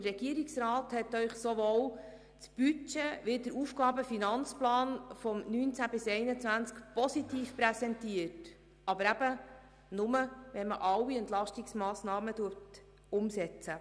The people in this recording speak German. Der Regierungsrat hat Ihnen sowohl das Budget als auch den AFP 2019–2021 positiv präsentiert, aber eben nur, wenn alle Entlastungsmassnahmen umgesetzt werden.